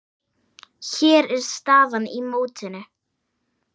Hér er staðan í mótinu.